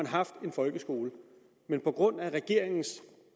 haft en folkeskole men på grund af regeringens